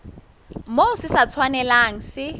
moo se sa tshwanelang se